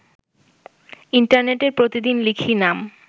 ইন্টারনেটে প্রতিদিন লিখি নাম